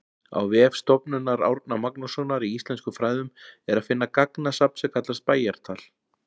Á vef Stofnunar Árna Magnússonar í íslenskum fræðum er að finna gagnasafn sem kallast Bæjatal.